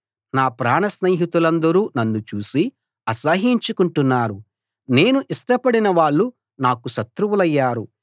నా ప్రాణస్నేహితులందరూ నన్ను చూసి ఆసహ్యించుకుంటున్నారు నేను ఇష్టపడిన వాళ్ళు నాకు శత్రువులయ్యారు